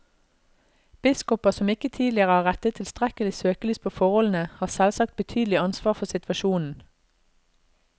Biskoper som ikke tidligere har rettet tilstrekkelig søkelys på forholdene, har selvsagt betydelig ansvar for situasjonen.